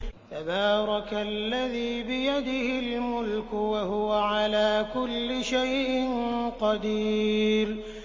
تَبَارَكَ الَّذِي بِيَدِهِ الْمُلْكُ وَهُوَ عَلَىٰ كُلِّ شَيْءٍ قَدِيرٌ